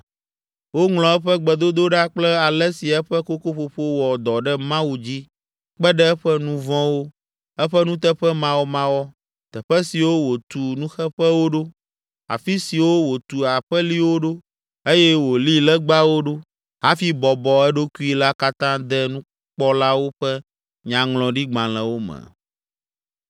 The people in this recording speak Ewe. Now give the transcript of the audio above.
Woŋlɔ eƒe gbedodoɖa kple ale si eƒe kokoƒoƒo wɔ dɔ ɖe Mawu dzi kpe ɖe eƒe nu vɔ̃wo, eƒe nuteƒemawɔmawɔ, teƒe siwo wòtu nuxeƒewo ɖo, afi siwo wòtu aƒeliwo ɖo eye wòli legbawo ɖo hafi bɔbɔ eɖokui la katã de nukpɔlawo ƒe nyaŋlɔɖigbalẽwo me.